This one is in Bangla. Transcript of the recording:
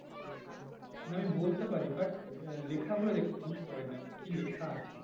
না আমি বলতে পারি but আহ লেখা গুলো বুঝতে পারি না, কি লেখা আছে?